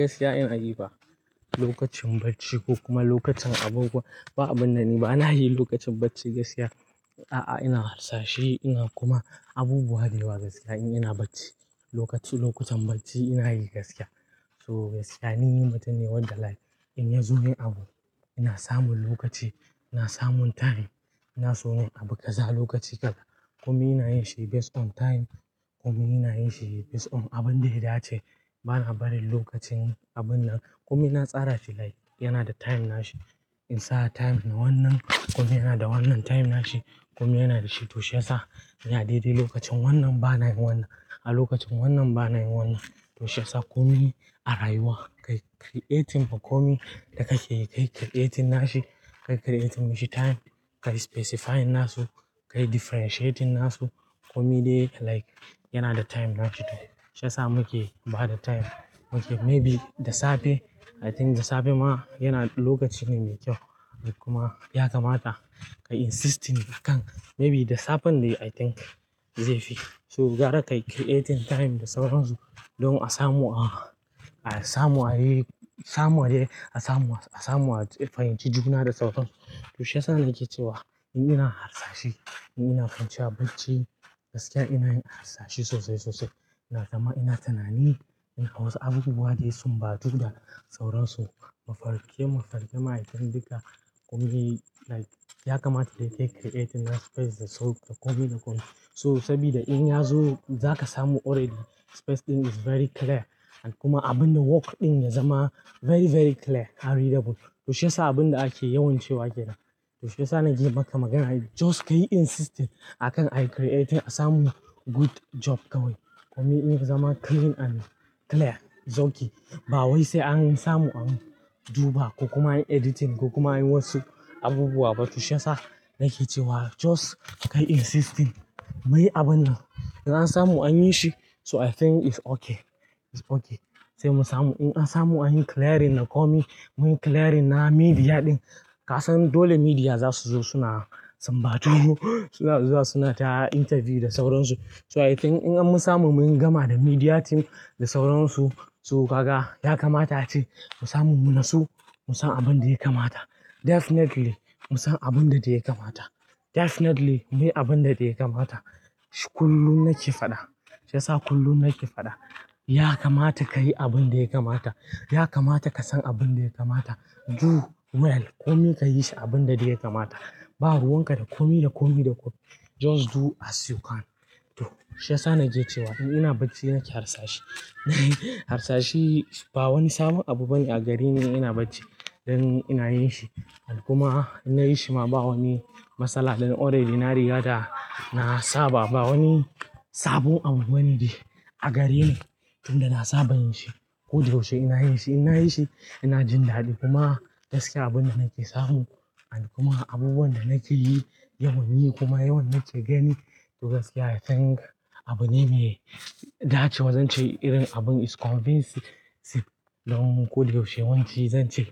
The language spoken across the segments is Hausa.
Gaskiya ina yi ba lokacin bacci ko kuma lokacin abubuwa, ba abin da ni ba. Ina yi lokacin bacci gaskiya. A'a, ina harsashe ina kuma abubuwa dayawa gaskiya in ina bacci. Lokaci lokutan bacci ina yi gaskiya. So gaskiya, ni mutum ne wadda like in ya zo yin abu, ina samun lokaci, ina samun time, ina so in abu kaza lokaci kaza. Komi ina yin shi based on time. Komi ina yin shi based on abin da ya dace. Ba na barin lokacin abin nan. Komi na tsara shi like yana da time nashi. In sa time na wannan, komi yana da wannan time nashi. Komi yana da shi. To shiyasa ina daidai lokacin wannan ba na yin wannan a lokacin wannan ba na yin wannan. To shiyasa komi a rayuwa, kai creating ba komi da kake kai creating nashi, kai creating mishi time, kai specifying nasu, kai differentiating nasu. Komi dai like yana da time nashi. To shiyasa muke ba da time. Okay, maybe da safe. I think da safe ma yana lokaci ne mai kyau. Kuma ya kamata kai insisting kan maybe da safen de I think zai fi. So gara kai creating time da sauransu don a samu a, a samu a yi, samu a yi, a samu a, a samu a fahimci juna da sauransu. To shiyasa nake cewa in ina harsashe, in ina kwance a bacci gaskiya ina yin harsashe sosai sosai. Ina zama, ina tunani in a wasu abubuwa da ya sunbatu da sauransu, maarke mafarke ma itin duka komi like ya kamata kai kai creating na space da sau da komi da komi. So sabida in ya zo za ka samu already space ɗin is very clear. Kuma abinda work ɗin ya zama very very clear, and readable. To shiyasa abin da ake yawan cewa kenan. To shiyasa naje maka magana just ka yi insisting akan ayi creating a samu good job kawai. Komi in ya zama clean and clear, zauki. Ba wai sai an samu an duba ko kuma an yi editing ko kuma an yi wasu abubuwa ba. To shiyasa nake cewa just ka yi insisting muyi abun nan. Idan an samu an yi shi so I think it's okay. It's okay. Sai mu samu. In an samu an yi clearing na komi, mun yi clearing na media ɗin. Ka san dole media za su zo suna sunbatu, suna zuwa suna ta interview da sauransu. So I think in an mu samu mun yi gama da media team da sauransu, so kaga ya kamata ace mu samu mu nasu mu san abin da ya kamata. Definitely mu san abin da dai ya kamata. Definitely muyi abin da ya kamata. Kullum nake faɗa. Shiyasa kullum nake faɗa. Ya kamata ka yi abin da ya kamata. Ya kamata ka san abin da ya kamata. Do well. Komi ka yi shi abinda dai ya kamata. Ba ruwan ka da komi da komi da komi. Just do as you can. To shiyasa nake cewa in ina bacci nake harsashe. Harsashe ba wani sabon abu bane a gareni ina bacci dan ina yin shi. Kuma in na yi shi ma ba wani masala ne. Already na riga da na saba. Ba wani sabon abu bane de a gareni tunda na saba yin shi. Ko da yaushe ina yin shi. In na yi shi ina jin daɗi. Kuma gaskiya abin da nake samu an kuma abubuwan da nake yi yawan yi kuma yawan nake gani to gaskiya I think abune mai dacewa. Zan ce irin abun is convincing don ko da yaushe yawanci zan ce.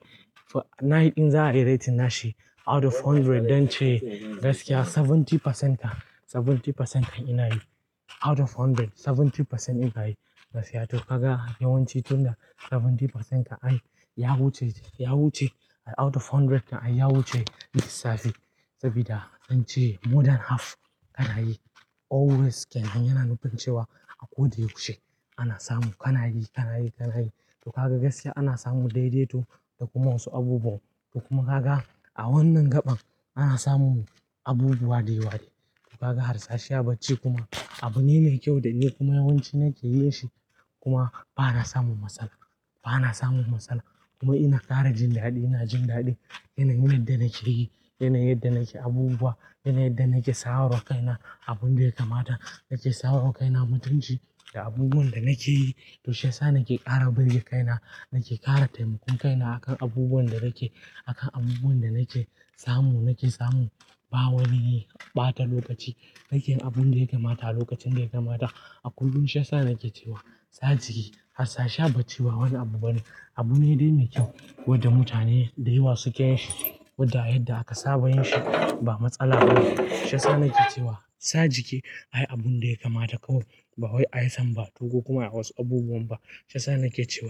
In za ayi rating nashi out of hundred, zan ce gaskiya seventy percent kan, seventy percent kan ina yi. Out of hundred, seventy percent ina yi gaskiya. To kaga yawan ci tunda seventy percent kan ai, ya wuce, ya wuce out of hundred kan ai ya wuce lissafi. Saboda an ce more than half ka na yi always kenan yana nufin cewa a ko da yaushe ana samu. Ka na yi, ka na yi, ka na yi. To gaga gaskiya ana samu daidaito da kuma wasu abubuwa. To kuma kaga a wannan gaɓan ana samun abubuwa dayawa dai. To kaga harsashe a bacci kuma abune mai kyau da ni kuma yawanci nake yin shi. Kuma ba na samun matsala. Ba na samun matsala. Kuma ina ƙara jin daɗi. Ina jin daɗi yana yin yadda nake yi, yana yin yadda nake abubuwa, yana yin yadda nake sawarwa kaina abin da ya kamata. Nake sawarwa kaina mutunci da abubuwan da nake yi. To shiyasa nake ƙara birge kaina, nake ƙara taimakon kaina akan abubuwan da nake, akan abubuwan da nake samu. Nake samu ba wani ɓata lokaci. Nake yin abin da ya kamata lokacin da ya kamata. A kullum shiyasa nake cewa sa jiki harsashe a bacci ba wani abu bane. Abune dai mai kyau wadda mutane da yawa suke yin shi. Wadda yadda aka saba yin shi ba matsala bane. Shiyasa nake cewa sa jiki ayi abin da ya kamata kawai. Ba wai isam ba to ko kuma a wasu abubuwan ba. Shiyasa nake cewa.